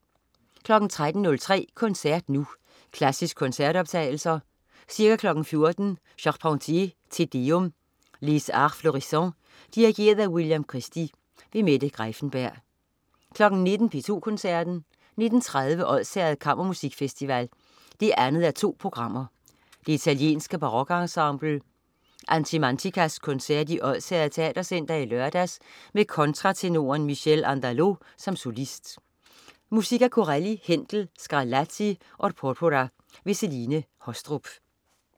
13.03 Koncert Nu. Klassiske koncertoptagelser. Ca. 14.00 Charpentier: Te deum. Les Arts Florissants. Dirigent: William Christie. Mette Greiffenberg 19.00 P2 Koncerten. 19.30 Odsherred Kammermusikfestival 2:2. Det italienske barokensemble Animanticas koncert i Odsherred Teatercenter i lørdags med kontratenoren Michele Andaló som solist. Musik af Corelli, Händel, Scarlatti og Porpora. Celine Haastrup